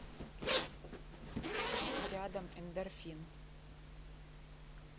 рядом эндорфин